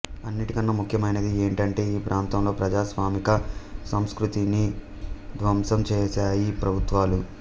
అన్నిటికన్నా ముఖ్యమైనది ఏంటంటే ఈ ప్రాంతంలో ప్రజాస్వామిక సంస్కృతిని ధ్వంసం చేశాయి ప్రభుత్వాలు